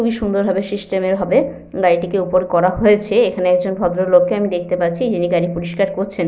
খুবই সুন্দর ভাবে সিস্টেম হবে গাড়িটিকে ওপর করা হয়েছে এখানে একজন ভদ্রলোক কে আমি দেখতে পাচ্ছি যিনি গাড়ি পরিষ্কার করছেন।